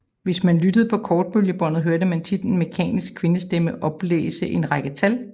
Hvis man lyttede på kortbølgebåndet hørte man tit en mekanisk kvindestemme oplæse en række tal